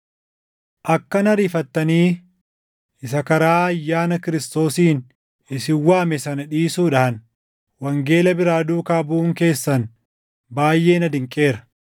Akkana ariifattanii isa karaa ayyaana Kiristoosiin isin waame sana dhiisuudhaan wangeela biraa duukaa buʼuun keessan baayʼee na dinqeera;